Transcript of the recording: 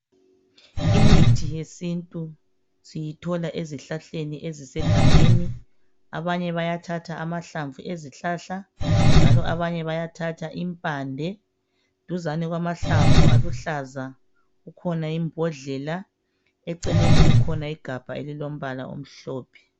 Imithi yesintu siyithola ezihlahleni ezisegangeni. Abanye bayathatha amahlamvu ezihlahla njalo abanye bayathatha impande. Duzane kwamahlamvu aluhlaza kukhona imbodlela eceleni kukhona igabha elilombala omhlophe.